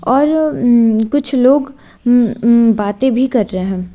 और कुछ लोग बातें भी कर रहे हैं।